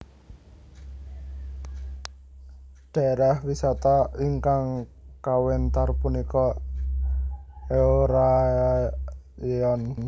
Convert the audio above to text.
Dhaérah wisata ingkang kawéntar punika Eorayeon